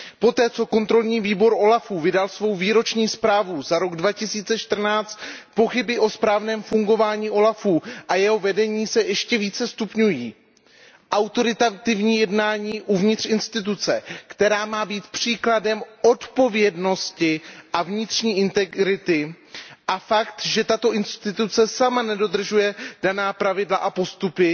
Poté, co dozorčí výbor úřadu OLAF vydal svou výroční zprávu za rok 2014, pochyby o správném fungování úřadu a jeho vedení se ještě více stupňují. Autoritativní jednání uvnitř instituce, která má být příkladem odpovědnosti a vnitřní integrity, a fakt, že tato instituce sama nedodržuje daná pravidla a postupy,